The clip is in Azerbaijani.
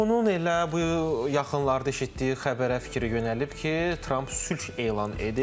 Və çoxunun elə bu yaxınlarda eşitdiyi xəbərə fikir yönəlib ki, Tramp sülh elan edib.